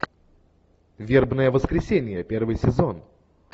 вербное воскресенье первый сезон